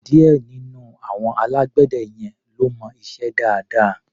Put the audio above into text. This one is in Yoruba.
Díẹ̀ nínú àwọn alágbẹ̀dẹ yẹn ló mọ iṣẹ́ dáadáa.